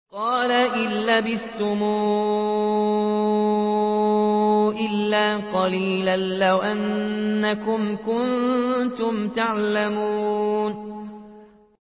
قَالَ إِن لَّبِثْتُمْ إِلَّا قَلِيلًا ۖ لَّوْ أَنَّكُمْ كُنتُمْ تَعْلَمُونَ